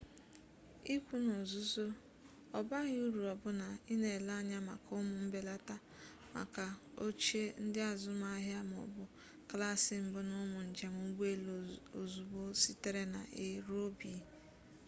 ikwu n'ozuzu ọ baghị uru ọbụna ị na-ele anya maka ụmụ mbelata maka ochie ndị azụmaahịa ma ọ bụ klaasị-mbụ n'ụmụ njem ụgbọelu ozugbo sitere na a ruo b